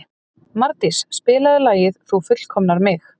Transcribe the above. Mardís, spilaðu lagið „Þú fullkomnar mig“.